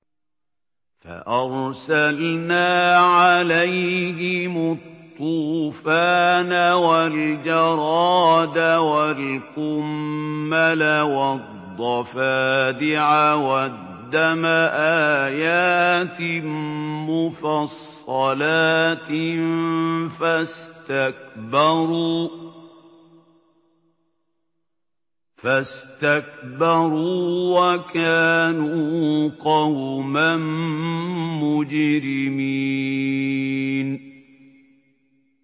فَأَرْسَلْنَا عَلَيْهِمُ الطُّوفَانَ وَالْجَرَادَ وَالْقُمَّلَ وَالضَّفَادِعَ وَالدَّمَ آيَاتٍ مُّفَصَّلَاتٍ فَاسْتَكْبَرُوا وَكَانُوا قَوْمًا مُّجْرِمِينَ